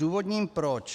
Zdůvodním proč.